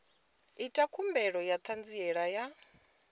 ita khumbelo ya ṱhanziela ya